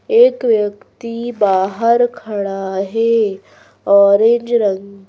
एक व्यक्ति बाहर खड़ा है ऑरेंज रंग का--